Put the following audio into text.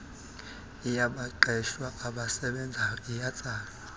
yabaqeshwa abasebenzayo iyatsalwa